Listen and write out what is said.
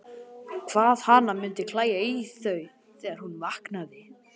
Hvað hana mundi klæja í þau þegar hún vaknaði!